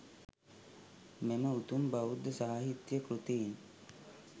මෙම උතුම් බෞද්ධ සාහිත්‍ය කෘතීන්